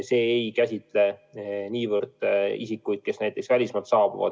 See ei puuduta niivõrd isikuid, kes välismaalt saabuvad.